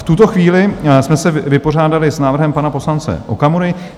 V tuto chvíli jsme se vypořádali s návrhem pana poslance Okamury.